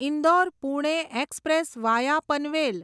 Indore Pune express via Panvel